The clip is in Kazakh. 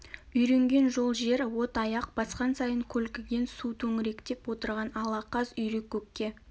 үйренген жол жер от аяқ басқан сайын көлкіген су төңіректеп отырған ала қаз үйрек көкке